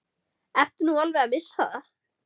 Ertu nú alveg að missa það?